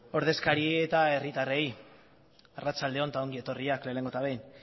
ordezkaria eta herritarrei arratsalde on eta ongi etorriak lehenengo eta behin